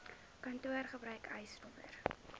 kantoor gebruik eisnr